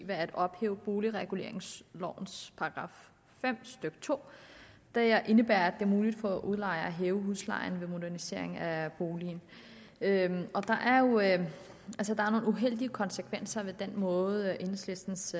ved at ophæve boligreguleringslovens § fem stykke to der indebærer at det er muligt for udlejer at hæve huslejen ved modernisering af boligen der er nogle uheldige konsekvenser ved den måde enhedslistens